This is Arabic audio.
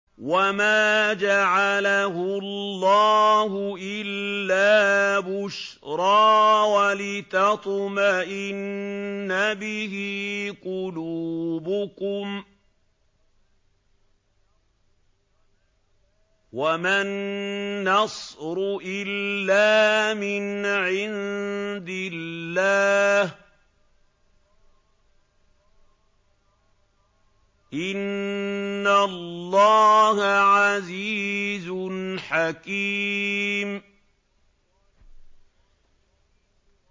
وَمَا جَعَلَهُ اللَّهُ إِلَّا بُشْرَىٰ وَلِتَطْمَئِنَّ بِهِ قُلُوبُكُمْ ۚ وَمَا النَّصْرُ إِلَّا مِنْ عِندِ اللَّهِ ۚ إِنَّ اللَّهَ عَزِيزٌ حَكِيمٌ